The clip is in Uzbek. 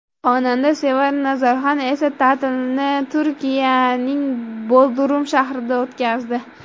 Xonanda Sevara Nazarxon esa ta’tilni Turkiyaning Bodrum shahrida o‘tkazdi.